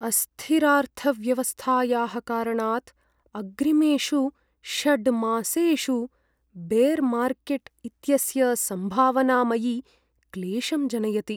अस्थिरार्थव्यवस्थायाः कारणात् अग्रिमेषु षड् मासेषु बेर् मार्केट् इत्यस्य सम्भावना मयि क्लेशं जनयति।